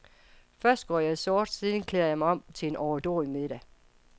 Først går jeg i sort, senere klæder jeg mig på til en overdådig middag.